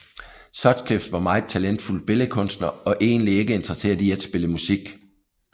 Sutcliffe var meget talentfuld billedkunstner og egentlig ikke interesseret i at spille musik